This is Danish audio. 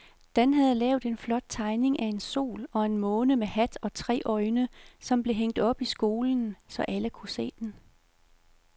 Dan havde lavet en flot tegning af en sol og en måne med hat og tre øjne, som blev hængt op i skolen, så alle kunne se den.